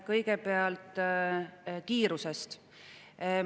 Kõigepealt kiirusest.